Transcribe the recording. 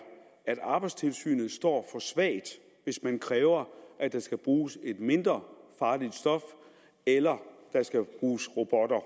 at arbejdstilsynet står for svagt hvis man kræver at der skal bruges et mindre farligt stof eller der skal bruges robotter